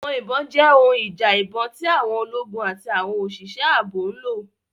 Àwọn ìbọn jẹ́ ohun ìjà ìbọn tí àwọn ológun àti àwọn òṣìṣẹ́ ààbò ń lò.